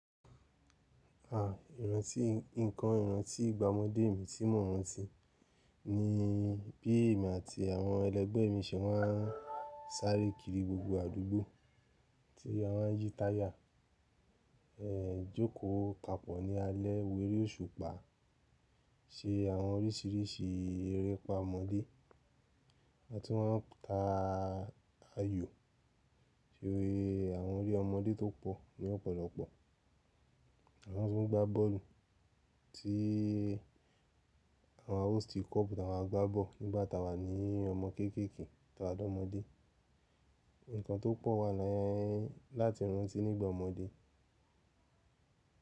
À, ìrántí, nnkan ìrántí ìgbà ọmọdé mi tí mò rántí ni bí èmi àti àwọn ẹlẹgbẹ́ mi se máa ń sáré kiri gbogbo àdúgbò tí a máa ń yí táyà, ẹ, jókòó papọ̀ ní alẹ́ w'eré òṣùpá, ṣe àwọn orísìírísìí erépá ọmọdé atún máa ń ta ayò sórí àwọn eré ọmọdé tó pọ̀ ní ọ̀pọ̀lọpọ̀. Àmá tún ń gbá bọ́ọ̀lù tí àwọn hosti kọ́ ọpọ̀ àwọn agbábọ̀ nígbà tá a wà ní ọmọ kéékèèké tawà l'ọ́mọdé. Nǹkan tó pọ̀ wà láyé láti rántí nígbà ọmọdé.